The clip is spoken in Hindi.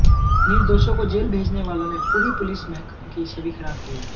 निर्दोषों को जेल भेजने वालों ने पूरे पुलिस महकमें की छवि खराब की है